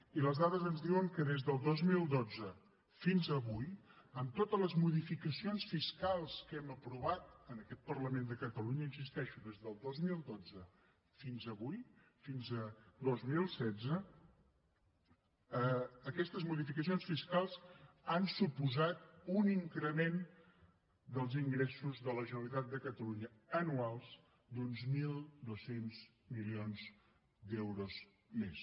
i les dades ens diuen que des del dos mil dotze fins avui amb totes les modificacions fiscals que hem aprovat en aquest parlament de catalunya hi insisteixo des del dos mil dotze fins avui fins a dos mil setze aquestes modificacions fiscals han suposat un increment dels ingressos de la generalitat de catalunya anuals d’uns mil dos cents milions d’euros més